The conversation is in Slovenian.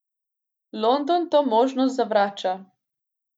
London to možnost zavrača.